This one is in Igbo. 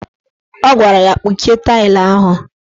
Ọ gwara ya"Kpuchie tailu ahụ! "